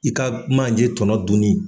I ka manje tɔnɔ dunin.